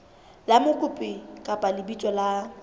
la mokopi kapa lebitso la